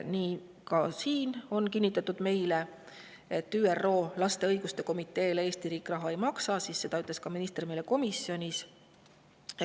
Siin on meile kinnitatud, et ÜRO laste õiguste komiteele Eesti riik raha ei maksa, ja seda ütles minister meile ka komisjonis.